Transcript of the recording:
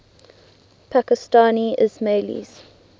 pakistani ismailis